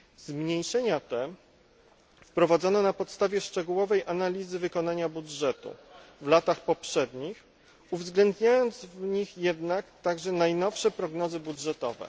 Zmniejszenia te wprowadzono na podstawie szczegółowej analizy wykonania budżetu w latach poprzednich, uwzględniając w nich jednak także najnowsze prognozy budżetowe.